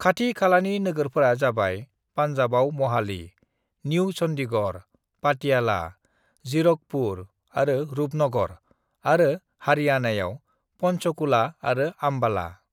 "खाथि-खालानि नोगोरफोरा जाबाय पान्जाबाव महाली, निउ चन्डीगढ़, पाटियाला, जीरकपुर आरो रूपनगर आरो हारियाणायाव पन्चकुला आरो आम्बाला।"